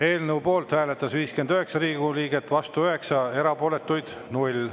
Eelnõu poolt hääletas 59 Riigikogu liiget, vastu 9, erapooletuid oli 0.